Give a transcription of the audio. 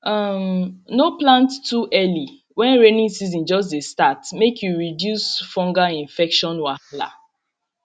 um no plant too early when rainy season just dey start make you reduce fungal infection wahala